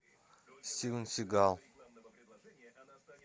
стивен сигал